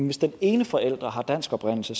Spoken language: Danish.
hvis den ene forælder har dansk oprindelse